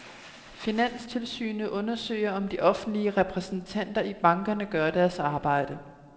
Finanstilsynet undersøger, om de offentlige repræsentanter i bankerne gør deres arbejde.